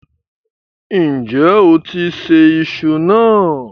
Ǹjẹ́ o ti ṣẹ̀ ìṣù náà?